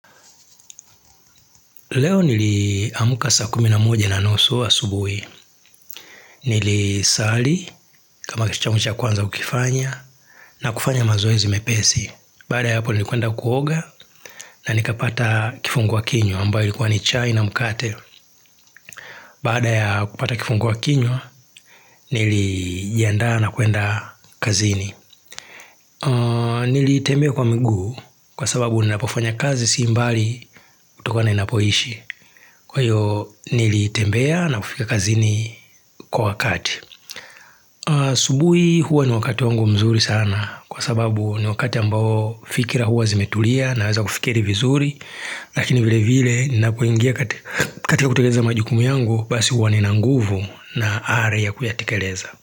Leo nili amuka saa kuminamuje na nusu wa subuhi. Nili sali kama kitu changu cha kwanza ukifanya na kufanya mazoe zimepesi. Baada ya hapo nilikuenda kuoga na nikapata kifungua kinyo ambayo likuwa ni chai na mkate. Bada ya kupata kifungua kinywa nilijiadaa na kuenda kazini. Nilitembea kwa miguu kwa sababu ninapofanya kazi si mbali utokona inapoishi. Kwa hiyo nilitembea na kufika kazini kwa wakati asubui huwa ni wakati wangu mzuri sana Kwa sababu ni wakati ambao fikira huwa zimetulia na weza kufikiri vizuri Lakini vile vile ninapoingia katika kuteleza majukumu yangu Basi huwa nina nguvu na are ya kuyatikeleza.